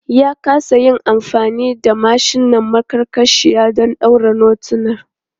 Ya kasa yin amfani da mashinan maƙarƙashiya don ɗaure notiran.